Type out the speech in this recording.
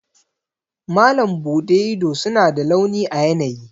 Malam Bude ido suna da launi a yanayi.